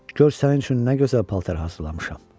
gör sənin üçün nə gözəl paltar hazırlamışam.